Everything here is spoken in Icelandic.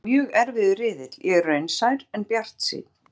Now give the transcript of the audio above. Þetta er mjög erfiður riðill, ég er raunsær en bjartsýnn.